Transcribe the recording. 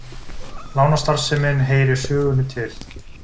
Lánastarfsemin heyrir sögunni til